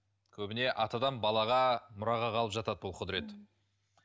көбіне атадан балаға мұраға қалып жатады бұл құдірет